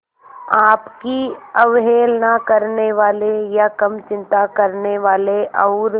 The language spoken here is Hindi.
आपकी अवहेलना करने वाले या कम चिंता करने वाले और